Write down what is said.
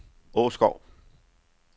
Åskov